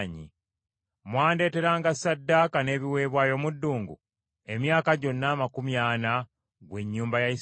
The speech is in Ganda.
“Mwandeeteranga ssaddaaka n’ebiweebwayo mu ddungu emyaka gyonna amakumi ana, ggw’ennyumba ya Isirayiri?